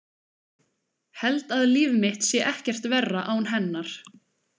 Held að líf mitt sé ekkert verra án hennar.